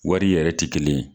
Wari yɛrɛ tɛ kelen ye.